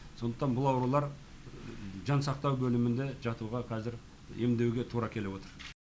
сондықтан бұл аурулар жансақтау бөлімінде жатуға қазір емдеуге тура келіп отыр